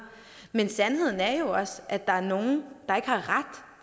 men sandheden er jo også at der er nogle der ikke har ret